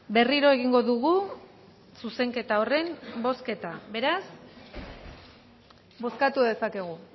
berriro egingo dugu zuzenketa horren bozketa beraz bozkatu dezakegu